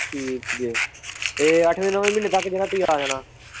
ਠੀਕ ਹੀ ਏ ਇਹ ਅੱਠਵੇਂ-ਨੌਵੇਂ ਮਹੀਨੇ ਤੱਕ ਕਿਹੜਾ ਤੁਹੀਂ ਆ ਜਾਣਾ।